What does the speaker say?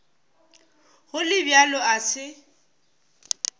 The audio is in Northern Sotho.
go le bjalo a se